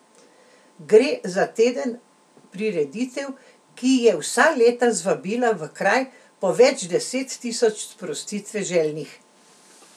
Gre za teden prireditev, ki je vsa leta zvabila v kraj po več deset tisoč sprostitve željnih.